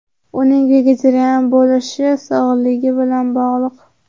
Uning vegetarian bo‘lishi sog‘ligi bilan bog‘liq.